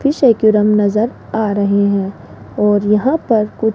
नजर आ रहे है और यहां पर कु--